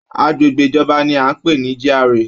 Agbègbè ìjọba ni a n pé ní GRA.